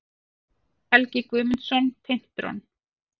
Helgi Guðmundsson, Tintron.